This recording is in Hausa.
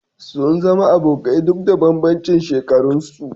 Sun zama abokai duk da bambancin shekaran su